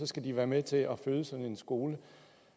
skal være med til at finansiere en international skole